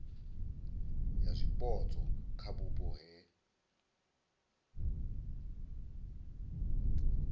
ya zwipotso kha vhupo he